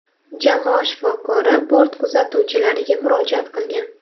Jamoa shifokori bort kuzatuvchilariga murojaat qilgan.